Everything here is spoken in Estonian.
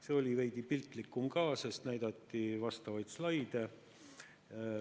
See oli veidi piltlikum ka, sest näidati vastavaid slaide.